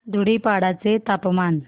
धुडीपाडा चे तापमान